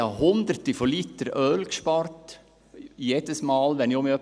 Jedes Mal, wenn ich wieder etwas saniert hatte, sparte ich hunderte von Litern an Öl.